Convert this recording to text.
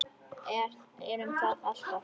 Erum það alltaf.